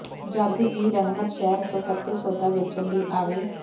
ਜਦ ਵੀ ਰਹਮਤ ਸ਼ਹਿਰ ਕਲਕੱਤੇ ਸੌਦਾ ਵੇਚਣ ਲਈ ਆਵੇ